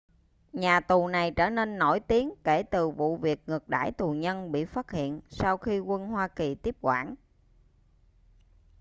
nhà tù này trở nên nổi tiếng kể từ vụ việc ngược đãi tù nhân bị phát hiện sau khi quân hoa kỳ tiếp quản